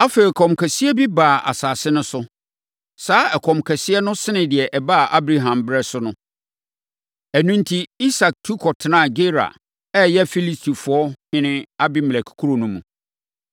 Afei, ɛkɔm kɛseɛ bi baa asase no so. Saa ɛkɔm kɛseɛ no sene deɛ ɛbaa Abraham berɛ so no. Ɛno enti, Isak tu kɔtenaa Gerar a ɛyɛ Filistifoɔ ɔhene Abimelek kuro mu.